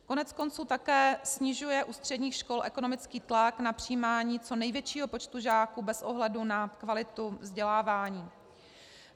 Koneckonců také snižuje u středních škol ekonomický tlak na přijímání co největšího počtu žáků bez ohledu na kvalitu vzdělávání.